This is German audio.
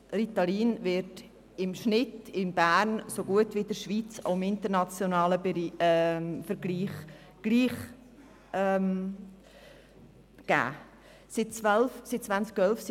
Ritalin wird im Kanton Bern und in der ganzen Schweiz, aber auch im internationalen Vergleich in einem vergleichbaren Umfang abgegeben.